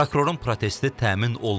Prokurorun protesti təmin olunub.